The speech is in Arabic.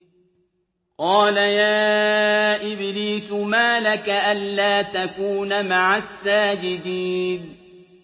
قَالَ يَا إِبْلِيسُ مَا لَكَ أَلَّا تَكُونَ مَعَ السَّاجِدِينَ